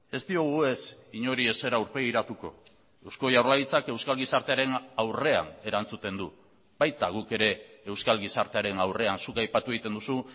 ez diogu ez inori ezer aurpegiratuko eusko jaurlaritzak euskal gizartearen aurrean erantzuten du baita guk ere euskal gizartearen aurrean zuk aipatu egiten duzu